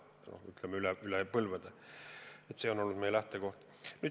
See on olnud, ütleme, üle põlvede meie lähtekoht.